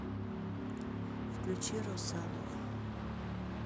включи росаву